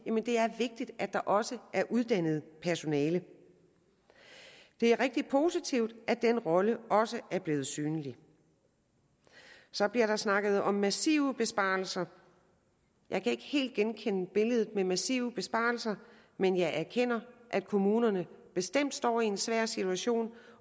at det er vigtigt at der også er uddannet personale det er rigtig positivt at den rolle også er blevet synlig så bliver der snakket om massive besparelser jeg kan ikke helt genkende billedet med massive besparelser men jeg erkender at kommunerne bestemt står i en svær situation